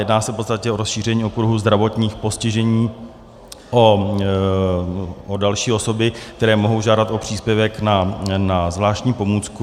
Jedná se v podstatě o rozšíření okruhu zdravotních postižení o další osoby, které mohou žádat o příspěvek na zvláštní pomůcku.